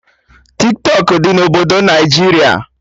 Tiktọk dị na obodo Naijiria